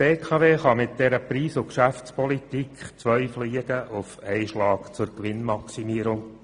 Die BKW kann mit dieser Preis- und Geschäftspolitik zwei Fliegen auf einen Streich treffen, um ihre Gewinne zu maximieren: